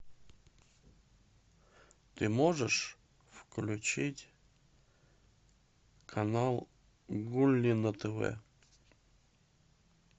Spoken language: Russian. ты можешь включить канал гулли на тв